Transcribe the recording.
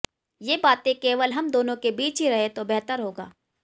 ये बातें केवल हम दोनों के बीच ही रहें तो बेहतर होगा